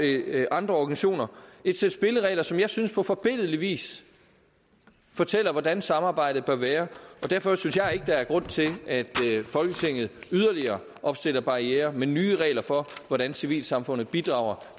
andre organisationer et sæt spilleregler som jeg synes på forbilledlig vis fortæller hvordan samarbejdet bør være derfor synes jeg ikke at der er grund til at folketinget yderligere opstiller barrierer med nye regler for hvordan civilsamfundet bidrager